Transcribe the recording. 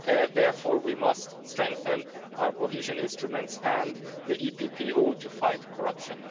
Therefore, we must strengthen our cohesion instruments and the EPP ought to fight corruption.